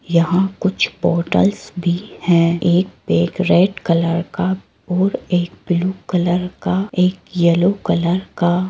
यहाँं कुछ पोर्टल्स भी है एक बैग रेड कलर का और एक ब्लू कलर का और एक येलो कलर का --